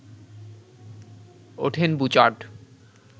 ওঠেন বুচার্ড